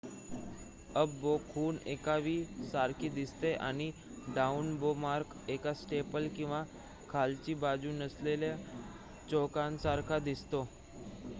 """Up bow" खूण एका V सारखी दिसते आणि "डाऊन बो मार्क" एक स्टेपल किंवा खालची बाजू नसलेला चौकोनासारखा दिसतो.